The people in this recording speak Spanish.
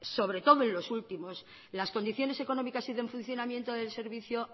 sobre todo en los últimos las condiciones económicas y de funcionamiento del servicio